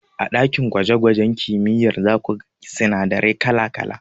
A ɗakin gwaje gwajen kimiyyar zaku ga sinadarai kala kala.